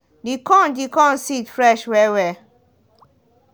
the corn the corn seed fresh well-well.